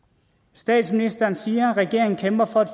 statsministeren siger at regeringen kæmper for et